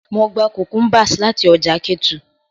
Mo gba cucumbers lati ọja Ketu.